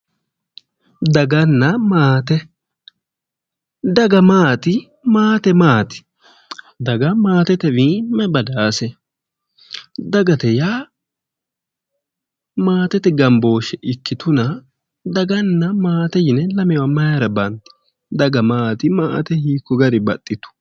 Daganna maate, daga maati? Maate maati? Daga maatetewayi mayi badaase? Dagate yaa maatete gambooshshe ikkituna daganna maate yine lamewa mayira bandi? Daga maate? Maate hiikko garii baxxitu?